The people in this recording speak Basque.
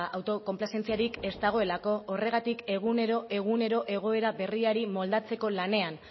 autokonplazentziarik ez dagoelako horregatik egunero egunero egoera berriari moldatzeko lanean